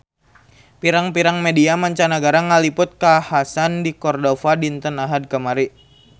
Pirang-pirang media mancanagara ngaliput kakhasan di Cordova dinten Ahad kamari